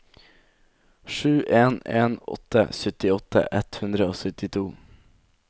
sju en en åtte syttiåtte ett hundre og syttito